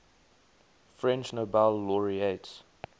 french nobel laureates